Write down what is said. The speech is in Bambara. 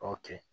O kɛ